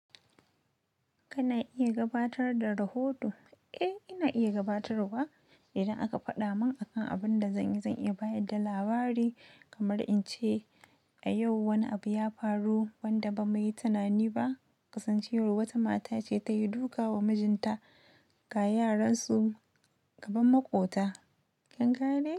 Kana iya gabatar da rahoto? Eh, ina iya gabatarwa. Idan aka faɗa man akan abun da zan yi, zan iya bayar da labari kamar in ce, a yau wani abu ya faru wanda ba muyi tunani ba. Kasancewar wata mata ce ta yi duka wa mijinta kg yaransu kaman maƙota kin gane.